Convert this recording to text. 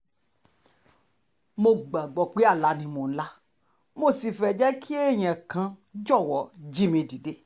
mo gbàgbọ́ pé àlá ni mò ń lá mo sì fẹ́ kí èèyàn kan jọ̀wọ́ jí mi dìde